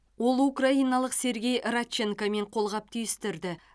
ол украиналық сергей радченкомен қолғап түйістірді